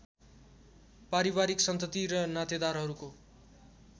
पारिवारिक सन्तति र नातेदारहरूको